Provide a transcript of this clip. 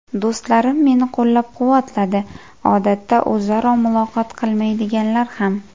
Do‘stlarim meni qo‘llab-quvvatladi odatda o‘zaro muloqot qilmaydiganlar ham.